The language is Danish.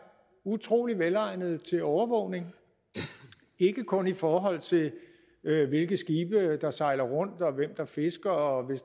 utrolig velegnede til overvågning ikke kun i forhold til hvilke skibe der sejler rundt hvem der fisker og